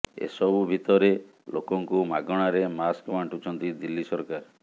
ଏସବୁ ଭିତରେ ଲୋକଙ୍କୁ ମାଗଣାରେ ମାସ୍କ ବାଣ୍ଟୁଛନ୍ତି ଦିଲ୍ଲୀ ସରକାର